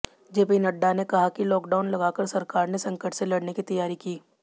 JP Nadda ने कहा कि लॉकडाउन लगाकर सरकार ने संकट से लड़ने की तैयारी की